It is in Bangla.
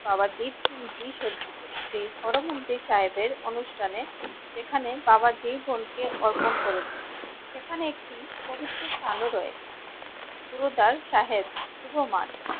বাবা দ্বীপ সিং জী সজ্জিত সেই হরমন্দির সাহেবের অনুষ্ঠানে যেখানে বাবা জীবন কে অর্পণ করেছিলেন সেকানে একটি পবিত্র স্থান ও রয়েছে গুরুদ্বার সাহেব শুভমান